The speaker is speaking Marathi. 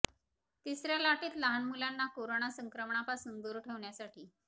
तिसऱ्या लाटेत लहान मुलांना करोना संक्रमणापासून दूर ठेवण्यासाठी